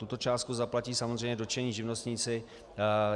Tuto částku zaplatí samozřejmě dotčení živnostníci.